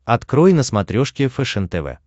открой на смотрешке фэшен тв